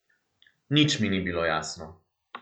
Nič mi ni bilo jasno.